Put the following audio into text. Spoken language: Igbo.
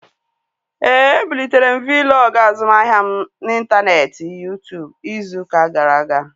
Éè, e bulitere m Vlog azụmahịa m n'intaneeti Yuu-tụụbụ izu ụka gara aga